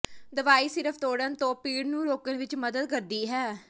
ਦਵਾਈ ਸਿਰਫ ਤੋੜਨ ਤੋਂ ਪੀੜ ਨੂੰ ਰੋਕਣ ਵਿਚ ਮਦਦ ਕਰਦੀ ਹੈ